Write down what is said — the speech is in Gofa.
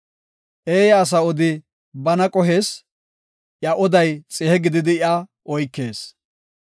Eeya asa odi bana qohees; iya oday xihe gididi iya oykees.